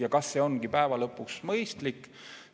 Ja kas see ongi päeva lõpuks mõistlik?